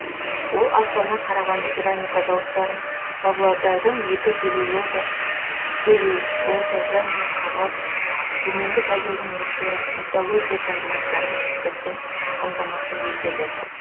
ол астана қарағанды керамика зауыттарын павлодардың екі целюлоза және қағаз төменгі тагилдің металлургия комбинаттарын шикізатпен қамтамасыз етеді